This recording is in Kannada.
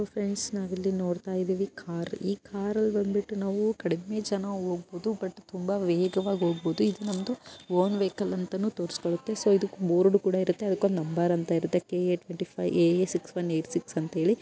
ಫ್ರೆಂಡ್ಸ್ ನಲ್ಲಿ ನೋಡ್ತಾ ಇದೀವಿ ಕಾರ್ ಈ ಕಾರು ಬಂದ್ ಬಿಟ್ಟು ನಾವು ಕಡಿಮೆ ಜನ ಹೋಗಬಹುದು ಬಟ್ ತುಂಬಾ ವೇಗವಾಗಿ ಹೋಗಬೋದು ಇದ್ ನಮ್ದು ಓನ್ ವೆಹಿಕಲ್ ಅಂತನು ತೋರಿಸ್ಕೊಳ್ಳುತ್ತೆ ಸೊ ಇದೂಕ್ ಬೋರ್ಡ್ ಕೂಡ ಇರುತ್ತೆ ಅದುಕ್ ಒಂದು ನಂಬರ್ ಅಂತ ಇರುತ್ತೆ K A twenty five A A six one eight six ಅಂತ ಹೇಳಿ --